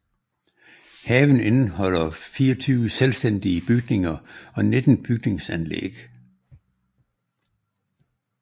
Haven indeholder 24 selvstændige bygninger og 19 bygningsanlæg